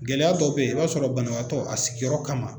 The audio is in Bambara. Gɛlɛya dɔw bɛ i b'a sɔrɔ banabaatɔ a sigiyɔrɔ kama